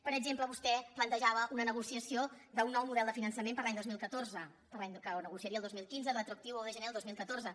per exemple vostè plantejava una negociació d’un nou model de finançament per a l’any dos mil catorze que negociaria el dos mil quinze retroactiu a un de gener de dos mil catorze